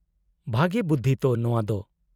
-ᱵᱷᱟᱜᱮ ᱵᱩᱫᱫᱷᱤ ᱛᱚ ᱱᱚᱶᱟ ᱫᱚ ᱾